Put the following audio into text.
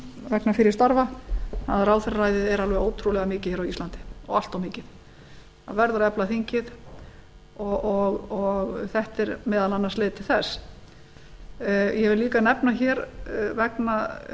vegna fyrri starfa að ráðherraræðið er alveg ótrúlega mikið á íslandi og allt of mikið það verður að efla þingið og þetta er meðal annars leið til þess ég vil líka nefna vegna